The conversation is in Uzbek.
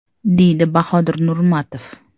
deydi Bahodir Nurmatov.